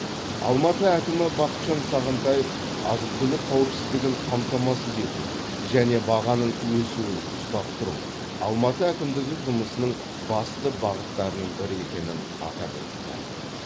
алматы әкімі бақытжан сағынтаев азық түлік қауіпсіздігін қамтамасыз ету және бағаның өсуін ұстап тұру алматы әкімдігі жұмысының басты бағыттарының бірі екенін атап өтті